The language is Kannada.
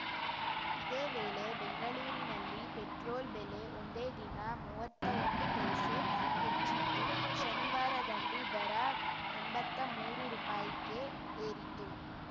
ಇದೇ ವೇಳೆ ಬೆಂಗಳೂರಿನಲ್ಲಿ ಪೆಟ್ರೋಲ್‌ ಬೆಲೆ ಒಂದೇ ದಿನ ಮುವ್ವತ್ತೊಂದು ಪೈಸೆ ಹೆಚ್ಚಿದ್ದು ಶನಿವಾರದಂದು ದರ ಎಂಬತ್ತಾ ಮೂರು ರುಪಾಯಿಗೆ ಏರಿತ್ತು